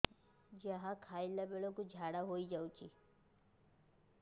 ଯାହା ଖାଇଲା ବେଳକୁ ଝାଡ଼ା ହୋଇ ଯାଉଛି